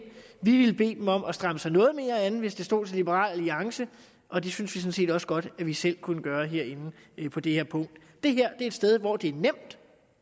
vi ville bede dem om at stramme sig noget mere an hvis det stod til liberal alliance og det synes vi sådan set også godt at vi selv kunne gøre herinde på det her punkt det her er et sted hvor det er nemt